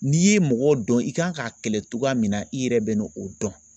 N'i ye mɔgɔ dɔn i kan k'a kɛlɛ cogoya min na i yɛrɛ bɛ n'o dɔn